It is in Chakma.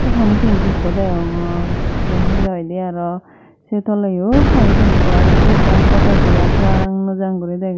apani tanki ekko degongor te he hoidy aro se toleyo pani tanki boreni te ekkan ato dega jang no jang guri dege.